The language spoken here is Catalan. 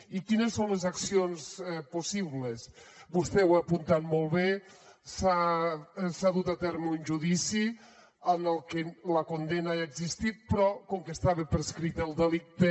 i quines són les accions possibles vostè ho ha apuntat molt bé s’ha dut a terme un judici en què la condemna ha existit però com que estava prescrit el delicte